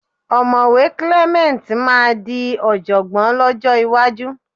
Ọ̀mọ̀wé Clement máa di ọ̀jọ̀gbọ́n lọ́jọ́ iwájú